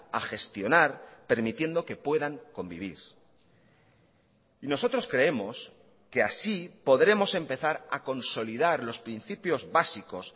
a gestionar permitiendo que puedan convivir y nosotros creemos que así podremos empezar a consolidar los principios básicos